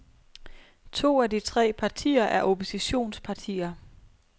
To af de tre partier er oppositionspartier.